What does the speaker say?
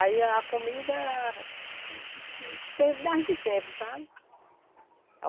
Aí a comida era a de sempre, sabe?